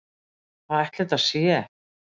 Hvað ætli þetta sé?